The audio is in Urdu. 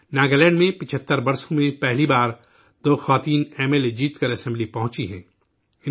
ناگالینڈ میں 75 برسوں میں پہلی بار دو خاتون ایم ایل اے جیت کر اسمبلی پہنچی ہیں